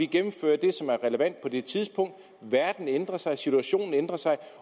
gennemfører det som er relevant på det givne tidspunkt verden ændrer sig og situationen ændrer sig